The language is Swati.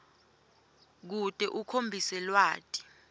kute ukhombise lwati